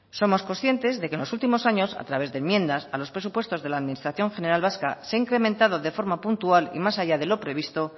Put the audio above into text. somos conscientes de que en los últimos años a través de enmiendas a los presupuestos de la administración general vasca se ha incrementado de forma puntual y más allá de lo previsto